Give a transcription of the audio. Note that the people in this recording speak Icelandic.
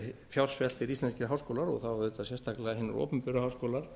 fjársveltir íslenskir háskólar og þá sérstaklega hinir opinberu háskólar